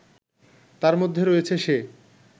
তার মধ্যে রয়েছে সে